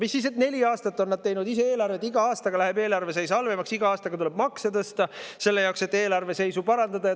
Mis siis, et neli aastat on nad teinud ise eelarvet ja iga aastaga läheb eelarve seis halvemaks, igal aastal tuleb makse tõsta selle jaoks, et eelarve seisu parandada.